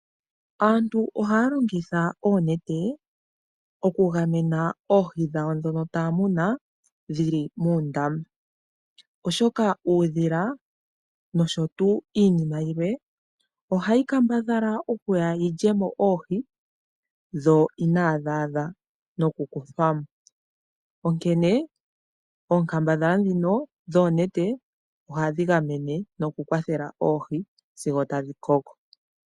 Aantu ohaya longitha oonete oku gamena oohi dhawo ndhono taya muna dhili moondama oshoka uudhila nosho tuu iinima yilwe ohayi kambadhala okuya yi lye mo oohi dho inaa dhi adha nokukuthwa mo, onkene oonkambadhala ndhino dhoonete ohadhi gamene noku kwathela oohi sigo tadhi koko.